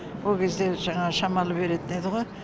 ол кезде жаңағы шамалы беретін еді ғо